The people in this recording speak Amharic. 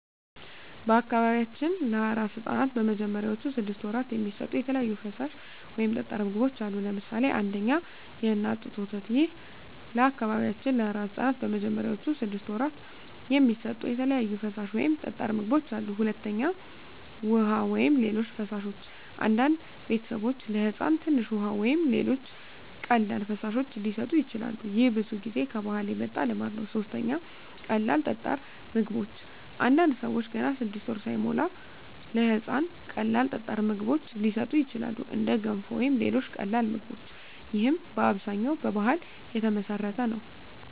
በአካባቢያችን ለአራስ ሕፃናት በመጀመሪያዎቹ ስድስት ወራት የሚሰጡ የተለያዩ ፈሳሽ ወይም ጠጣር ምግቦች አሉ። ለምሳሌ 1. የእናት ጡት ወተት ይህ ለበአካባቢያችን ለአራስ ሕፃናት በመጀመሪያዎቹ ስድስት ወራት የሚሰጡ የተለያዩ ፈሳሽ ወይም ጠጣር ምግቦች አሉ። 2. ውሃ ወይም ሌሎች ፈሳሾች አንዳንድ ቤተሰቦች ለሕፃን ትንሽ ውሃ ወይም ሌሎች ቀላል ፈሳሾች ሊሰጡ ይችላሉ። ይህ ብዙ ጊዜ ከባህል የመጣ ልማድ ነው። 3. ቀላል ጠጣር ምግቦች አንዳንድ ሰዎች ገና 6 ወር ሳይሞላ ለሕፃን ቀላል ጠጣር ምግቦች ሊሰጡ ይችላሉ፣ እንደ ገንፎ ወይም ሌሎች ቀላል ምግቦች። ይህም በአብዛኛው በባህል የተመሠረተ ነው።